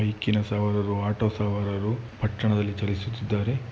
ಬೈಕಿ ನ ಸವಾರರು ಆಟೋ ಸವಾರರು ಪಟ್ಟಣದಲ್ಲಿ ಚಲಿಸುತ್ತಿದ್ದಾರೆ .